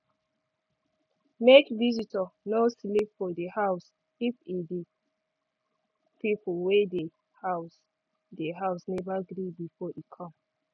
make visitor no sleep for di house if e di people wey dey day house never gree before e come